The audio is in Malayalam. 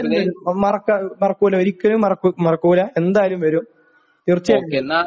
എന്തായാലും വരും, മറക്കൂല, ഒരിക്കലും മറക്കൂല..എന്തായാലും വരും, തീർച്ചയായും വരും...